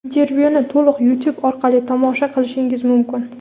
Intervyuni to‘liq Youtube orqali tomosha qilishingiz mumkin.